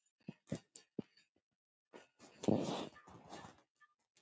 Thelma og Dofri.